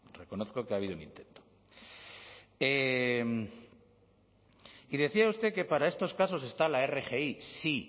reconozco que ha habido un intento y decía usted que para estos casos está la rgi sí